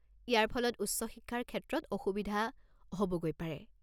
ইয়াৰ ফলত উচ্চ শিক্ষাৰ ক্ষেত্ৰত অসুবিধা হ'বগৈ পাৰে।